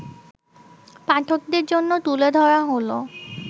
পাঠকদের জন্য তুলে ধরা হলো